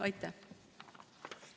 Aitäh!